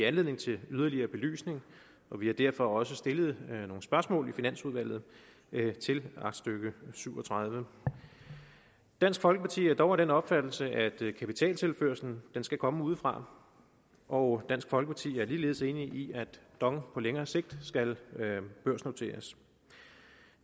anledning til yderligere belysning og vi har derfor også stillet nogle spørgsmål i finansudvalget til aktstykke syv og tredive dansk folkeparti er dog af den opfattelse at kapitaltilførslen skal komme udefra og dansk folkeparti er ligeledes enig i at dong på længere sigt skal børsnoteres